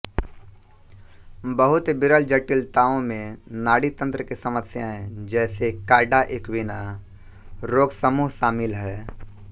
बहुत विरल जटिलताओं में नाड़ीतंत्र की समस्याएं जैसे कॉडा इक्विना रोगसमूह शामिल है